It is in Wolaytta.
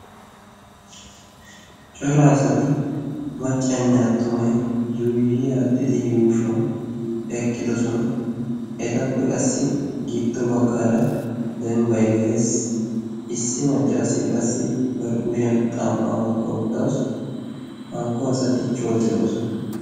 cora asatti maccanne attumay yuuyi aaxxidi yuushuwan eqqidossona. ettappe qassi giddo baggaara dembbay de7ees issi maccaasiyaa qassi bar kushiyan xam77aa oyqqa uttaassu hankko asati coo de7oosona.